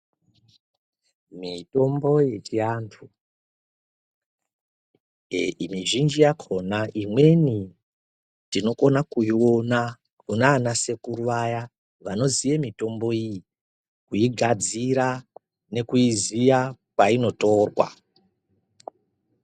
Mitombo yechiantu, mizhinji yakhona imweni tinokone kuiona kunana sekuru vaya vanoziya mitombo iyi kuigadzira nekuiziya kwainotorwa.